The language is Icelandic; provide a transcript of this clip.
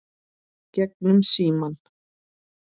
Gegnum símann.